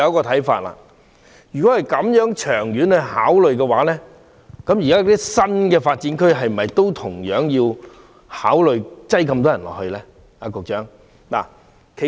同理，如果從長遠考慮，現時的新發展區是否要讓那麼多人居住呢？